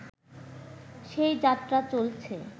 সেই যাত্রা চলছে